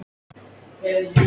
Hérna Hafmey.